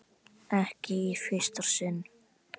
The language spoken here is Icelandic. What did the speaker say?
Ekki í fyrsta sinn.